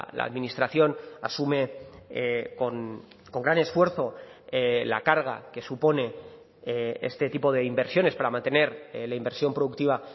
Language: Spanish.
la administración asume con gran esfuerzo la carga que supone este tipo de inversiones para mantener la inversión productiva